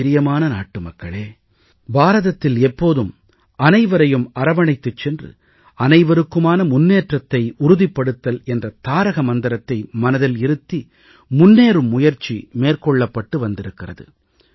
என் பிரியமான நாட்டுமக்களே பாரதத்தில் எப்போதும் அனைவரையும் அரவணைத்துச் சென்று அனைவருக்குமான முன்னேற்றத்தை உறுதிப்படுத்தல் என்ற தாரக மந்திரத்தை மனதில் இருத்தி முன்னேறும் முயற்சி மேற்கொள்ளப்பட்டு வந்திருக்கிறது